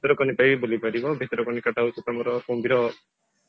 ଭିତରକନିକା ବି ବୁଲିପାରିବ ଭିତରକନିକା ଟା ହଉଛି ତମର କୁମ୍ଭୀର